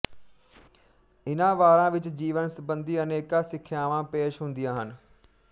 ਇਨ੍ਹਾਂ ਵਾਰਾਂ ਵਿੱਚ ਜੀਵਨ ਸੰਬੰਧੀ ਅਨੇਕਾਂ ਸਿੱਖਿਆਵਾਂ ਪੇਸ਼ ਹੁੰਦੀਆਂ ਹਨ